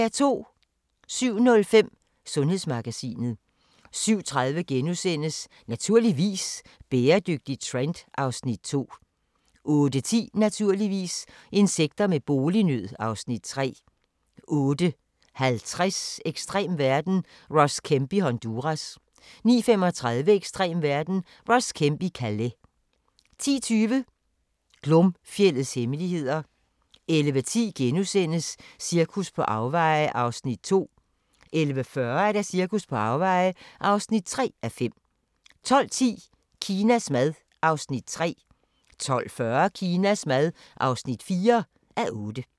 07:05: Sundhedsmagasinet 07:30: Naturligvis - bæredygtig trend (Afs. 2)* 08:10: Naturligvis - insekter med bolignød (Afs. 3) 08:50: Ekstrem verden – Ross Kemp i Honduras 09:35: Ekstrem verden – Ross Kemp i Calais 10:20: Glomfjeldets hemmeligheder 11:10: Cirkus på afveje (2:5)* 11:40: Cirkus på afveje (3:5) 12:10: Kinas mad (3:8) 12:40: Kinas mad (4:8)